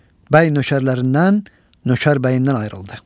Bəy nökərlərindən nökər bəyindən ayrıldı.